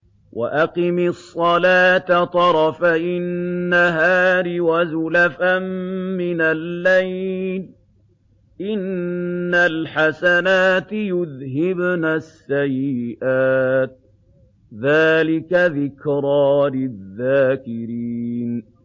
وَأَقِمِ الصَّلَاةَ طَرَفَيِ النَّهَارِ وَزُلَفًا مِّنَ اللَّيْلِ ۚ إِنَّ الْحَسَنَاتِ يُذْهِبْنَ السَّيِّئَاتِ ۚ ذَٰلِكَ ذِكْرَىٰ لِلذَّاكِرِينَ